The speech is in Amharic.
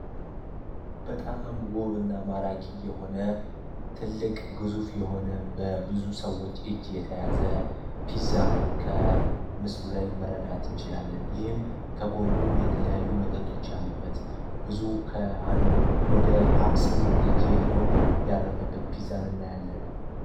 በጣም ውብ እና ማራኪ የሆነ ትልቅ ግዙፍ የሆነ በብዙ ሰዎች እጅ የተያዘ ፒዛን ከምስሉ ላይ መረዳትን ይችላለን። ይህም ከጎኑ የተለያዩ መጠጦች ያሉበት ብዙ ውስጥ ስምንት እጂ የሚሆን ያረፈበት ፒዛን እና እናያለን።